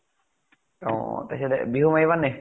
অ বিহু মাৰিবা নে নাই ?